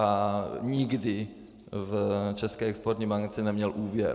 A nikdy v České exportní bance neměl úvěr.